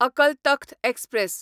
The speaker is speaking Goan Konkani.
अकल तख्त एक्सप्रॅस